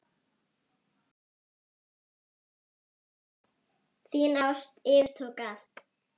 Þín ást yfirtók allt.